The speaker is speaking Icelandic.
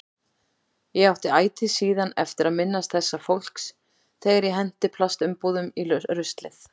Ég átti ætíð síðan eftir að minnast þessa fólks þegar ég henti plastumbúðum í ruslið.